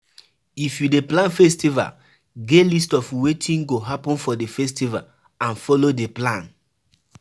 If you dey plan festival, get list of wetin go happen for di festival and follow di plan